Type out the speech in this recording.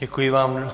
Děkuji vám.